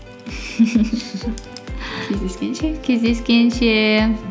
кездескенше кездескенше